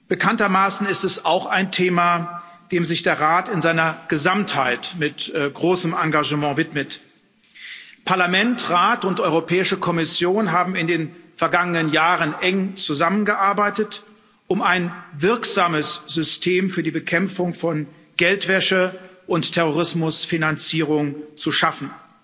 Bekanntermaßen ist es auch ein Thema, dem sich der Rat in seiner Gesamtheit mit großem Engagement widmet. Parlament, Rat und Europäische Kommission haben in den vergangenen Jahren eng zusammengearbeitet, um ein wirksames System für die Bekämpfung von Geldwäsche und Terrorismusfinanzierung zu schaffen.